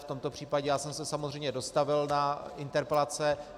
V tomto případě já jsem se samozřejmě dostavil na interpelace.